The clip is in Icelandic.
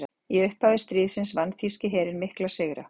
Í upphafi stríðsins vann þýski herinn mikla sigra.